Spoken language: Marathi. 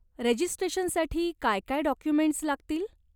रजिस्ट्रेशनसाठी काय काय डॉक्युमेंट्स् लागतील?